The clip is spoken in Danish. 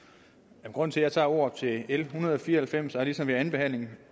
grunden til at jeg tager ordet til l en hundrede og fire og halvfems er ligesom ved andenbehandlingen